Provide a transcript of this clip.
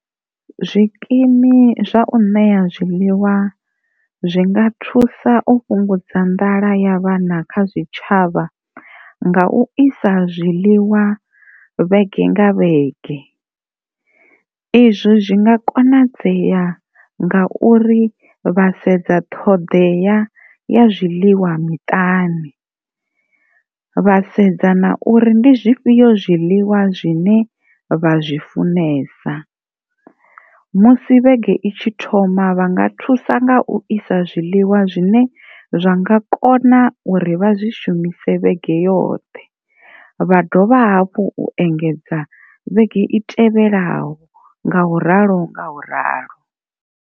Zwikimu zwa u ṋea zwiliwa zwi nga thusa u fhungudza nḓala ya vhana kha zwitshavha nga u isa zwiḽiwa vhege nga vhege izwo zwi nga konadzea ngauri vha sedza ṱhoḓea ya zwiḽiwa miṱani vha sedza na uri ndi zwifhio zwiḽiwa zwine vha zwi funesa, musi vhege i tshi thoma vha nga thusa nga u isa zwiḽiwa zwine zwa nga kona uri vha zwi shumise vhege yoṱhe vha dovha hafhu u engedza vhege i tevhelaho nga u ralo nga u ralo.